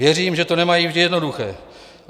Věřím, že to nemají vždy jednoduché.